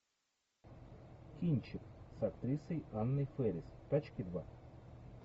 кинчик с актрисой анной фэрис тачки два